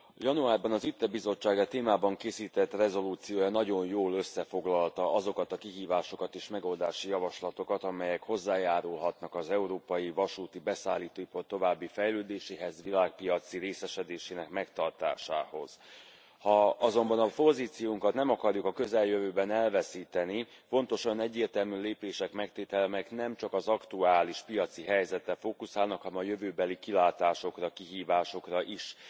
Januárban az ITRE bizottság e témában készített rezolúciója nagyon jól összefoglalta azokat a kihívásokat és megoldási javaslatokat, amelyek hozzájárulhatnak az európai vasúti beszállító ipar további fejlődéséhez, világpiaci részesedésének megtartásához. Ha azonban a pozíciónkat nem akarjuk a közeljövőben elveszíteni, fontos olyan egyértelmű lépések megtétele, melyek nem csak az aktuális piaci helyzetre fokuszálnak, hanem a jövőbeli kilátásokra, kihívásokra is.